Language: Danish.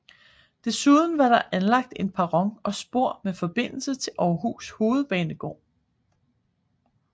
Desuden var der anlagt en perron og spor med forbindelse til Aarhus Hovedbanegård